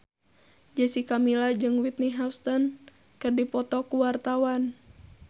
Jessica Milla jeung Whitney Houston keur dipoto ku wartawan